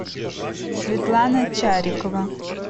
светлана чарикова